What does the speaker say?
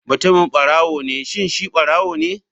Mutumin barawo ne shin shi ɓarawone??